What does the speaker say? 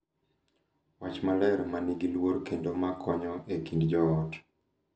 Wach maler, ma nigi luor kendo ma konyo e kind jo ot